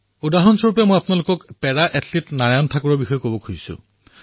উদাহৰণ স্বৰূপে আপোনালোকক পেৰা এথলীট নাৰায়ণ ঠাকুৰৰ বিষয়ে কব খুজিছোঁ